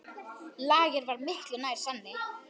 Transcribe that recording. Lager var miklu nær sanni.